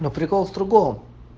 но прикол в другом